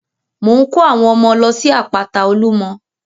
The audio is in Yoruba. Mò ń ko àwọn ọmọ lọ sí àpáta olumọ.